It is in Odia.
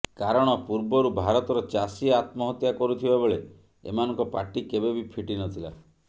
କାରଣ ପୂର୍ବରୁ ଭାରତର ଚାଷୀ ଆତ୍ମହତ୍ୟା କରୁଥିବା ବେଳେ ଏମାନଙ୍କ ପାଟି କେବେ ବି ଫିଟି ନଥିଲା